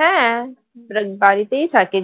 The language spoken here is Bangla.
হ্যাঁ বাড়িতেই থাকে